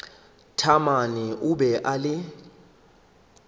taamane o be a le